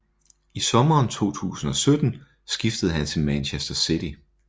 I sommeren 2017 skiftede han til Manchester City